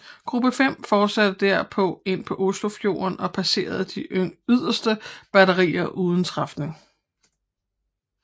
Gruppe 5 fortsatte derpå ind i Oslofjorden og passerede de yderste batterier uden træfninger